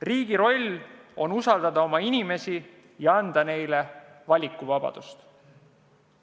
Riigi roll on usaldada oma inimesi ja anda neile valikuvabadust.